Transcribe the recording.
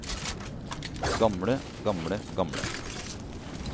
gamle gamle gamle